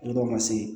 Yɔrɔ dɔ ma se